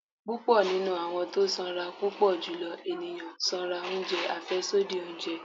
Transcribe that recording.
pupọ ninú awọn tọ sanra n Pupọ julọ eniyan sanra njẹ afẹsodi ounjẹ